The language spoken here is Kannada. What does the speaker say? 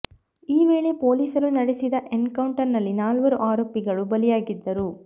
ಈ ವೇಳೆ ಪೊಲೀಸರು ನಡೆಸಿದ ಎನ್ ಕೌಂಟರ್ ನಲ್ಲಿ ನಾಲ್ವರು ಆರೋಪಿಗಳು ಬಲಿಯಾಗಿದ್ದರು